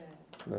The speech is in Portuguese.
Certo, né.